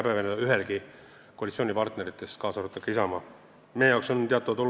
Ma arvan, et ühelgi koalitsioonipartneril, kaasa arvatud Isamaal, ei ole midagi häbeneda.